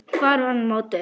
Hvar var hún mótuð?